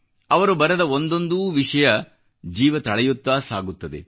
ಅವರು ಬರೆದ ಒಂದೊಂದೂ ವಿಷಯ ಜೀವ ತಳೆಯುತ್ತಾ ಸಾಗುತ್ತದೆ